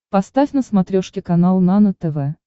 поставь на смотрешке канал нано тв